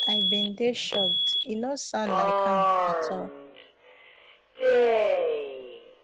i bin dey shocked e no sound like am at all